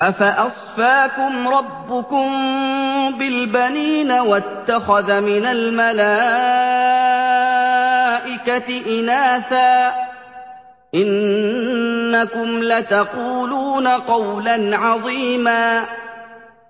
أَفَأَصْفَاكُمْ رَبُّكُم بِالْبَنِينَ وَاتَّخَذَ مِنَ الْمَلَائِكَةِ إِنَاثًا ۚ إِنَّكُمْ لَتَقُولُونَ قَوْلًا عَظِيمًا